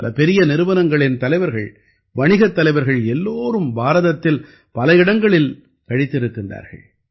பல பெரிய நிறுவனங்களின் தலைவர்கள் வணிகத் தலைவர்கள் எல்லோரும் பாரதத்தில் பல இடங்களில் கழித்திருக்கிறார்கள்